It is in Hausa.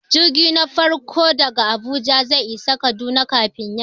Jirgin ƙasa na farko daga Abuja zai isa Kaduna kafin yamma.